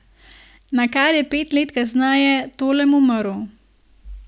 Nakar je pet let kasneje Tolem umrl.